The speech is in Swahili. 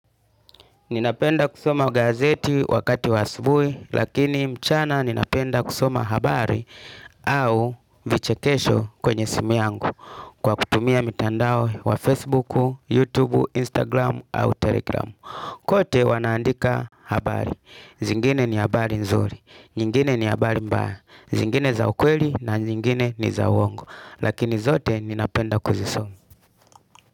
Ninapenda kusoma gazeti wakati wa asubuhi, lakini mchana ninapenda kusoma habari au vichekesho kwenye simu yangu kwa kutumia mitandao wa Facebook, YouTube, Instagram au Telegram. Kote wanaandika habari, zingine ni habari nzuri, nyingine ni habari mbaya, zingine za ukweli na zingine ni za uongo. Lakini zote ninapenda kuzisoma.